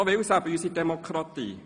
So will es eben unsere Demokratie.